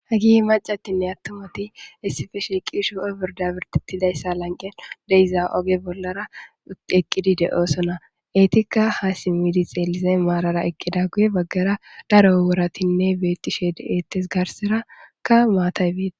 hagi macatinne attumoti issife sheqisho oburda birtetidayssa lanqen deyza oge bollara eqqidi de7oosona eetikka haasi midi xeelize maarara eqqida guye baggara daro wuratinne beettishede ettes garseraka maatay biita